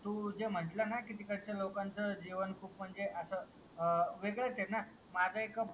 तू जे म्हणत ला ना तिकडचा लोकांचा जीवन खूप म्हणजे असं अ वेगळाच आहे ना माझं एक